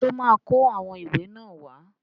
Ṣó máa kó àwọn ìwé náà wá?